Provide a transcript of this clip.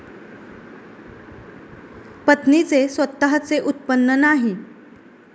पत्नीचे स्वतःचे उत्पन्न नाही.